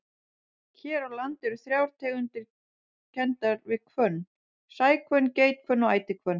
Hér á landi eru þrjár tegundir kenndar við hvönn, sæhvönn, geithvönn og ætihvönn.